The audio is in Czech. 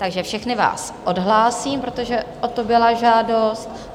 Takže všechny vás odhlásím, protože o to byla žádost.